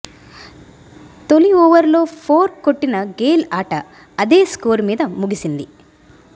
తొలి ఓవర్లో ఫోర్ కొట్టిన గేల్ ఆట అదేస్కోరు మీద ముగిసింది